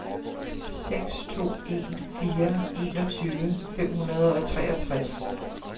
seks to en fire enogtyve fem hundrede og treogtres